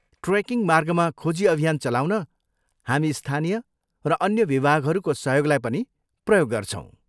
Trekking मार्गमा खोजी अभियान चलाउन हामी स्थानीय र अन्य विभागहरूको सहयोगलाई पनि प्रयोग गर्छौँ।